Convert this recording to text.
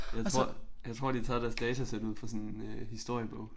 Jeg tror jeg tror de har taget deres datasæt ud fra sådan øh historiebog